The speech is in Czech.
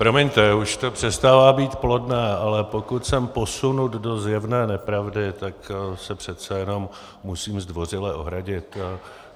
Promiňte, už to přestává být plodné, ale pokud jsem posunut do zjevné nepravdy, tak se přece jenom musím zdvořile ohradit.